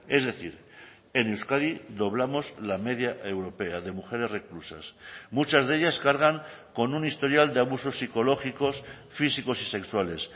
es decir en euskadi doblamos la media europea de mujeres reclusas muchas de ellas cargan con un historial de abusos psicológicos físicos y sexuales